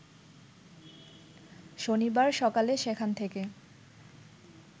শনিবার সকালে সেখান থেকে